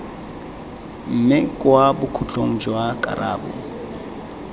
mme kwa bokhutlong jwa karabo